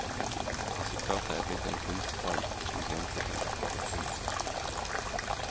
Resultatet er blitt en kunstform, som grenser til arkitektur.